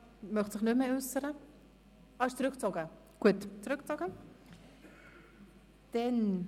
– Er möchte sich nicht mehr äussern, und der Antrag wurde zurückgezogen.